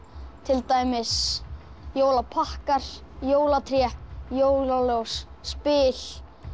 til dæmis jólapakkar jólatré jólaljós spil